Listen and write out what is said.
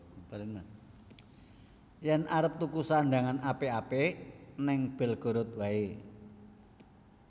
Yen arep tuku sandhangan apik apik ning Belgorod wae